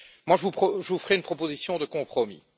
Je vous ferai une proposition de compromis.